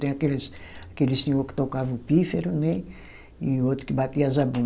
Tem aqueles, aquele senhor que tocava o pífaro, né e outro que batia a zabumba